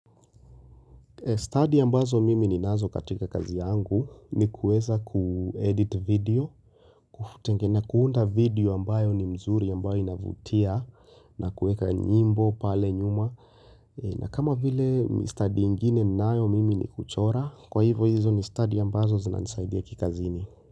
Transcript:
Study ambazo mimi ni nazo katika kazi yangu ni kueza kuedit video Tengene kuunda video ambayo ni mzuri ambayo inavutia na kueka nyimbo pale nyuma na kama vile study ingine ninayo mimi ni kuchora kwa hivo hizo ni study ambazo zinanisaidia kikazini.